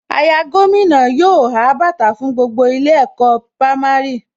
Àyà gómìnà yóò há bàtà fún gbogbo ilé ẹ̀kọ́ pámárì